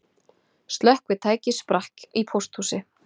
Slökkvitæki sprakk í pósthúsi